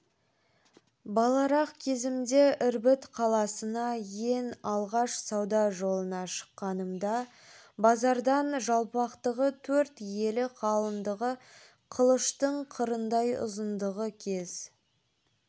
баларақ кезімде ірбіт қаласына ен алғаш сауда жолына шыққанымда базардан жалпақтығы төрт елі қалыңдығы қылыштың қырындай ұзындығы кез